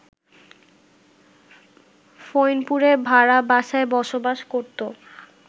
ফইনপুরে ভাড়া বাসায় বসবাস করত